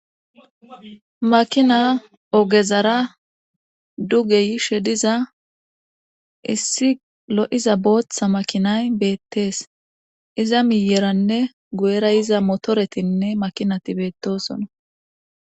makina ogezara duge yishe diza issi lo'iza booththa makinay beettees iza miyeranne go'era iza motoretinne makinati beettosona